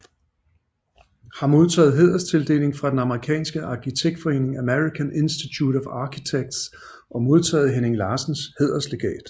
Har modtaget hæderstildeling fra den amerikanske arkitektforening American Institute of Architects og modtaget Henning Larsens hæderslegat